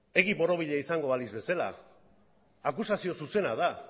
egi borobila izango balitz bezala akusazio zuzena da